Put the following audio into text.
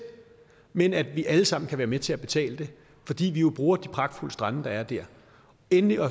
men at vi alle sammen kan være med til at betale det fordi vi jo bruger de pragtfulde strande der er dér endelig